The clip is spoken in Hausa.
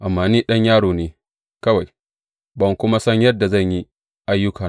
Amma ni ɗan yaro ne kawai, ban kuma san yadda zan yi ayyukana ba.